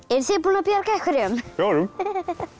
þið búin að bjarga einhverjum fjórum búin að bjarga